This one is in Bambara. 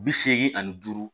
Bi seegin ani duuru